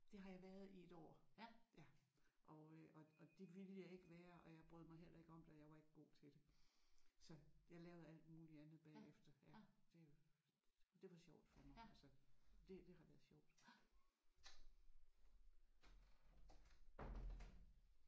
Det har jeg været i 1 år og øh og og det ville jeg ikke være og jeg brød mig heller ikke om det og jeg var ikke god til det så jeg lavede alt muligt andet bagefter. Ja det det var sjovt for mig altså det det har været sjovt